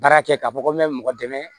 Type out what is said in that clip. Baara kɛ k'a fɔ ko n mɛ mɔgɔ dɛmɛ